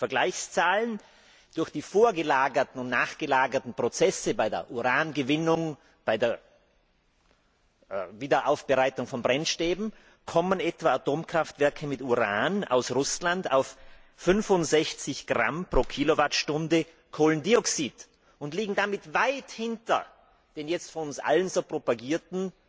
Vergleichszahlen durch die vorgelagerten und nachgelagerten Prozesse bei der Urangewinnung, bei der Wiederaufbereitung von Brennstäben zeigen, dass Atomkraftwerke mit Uran aus Russland auf etwa 65 Gramm pro Kilowattstunde Kohlendioxid kommen und damit weit hinter den jetzt von uns allen so propagierten,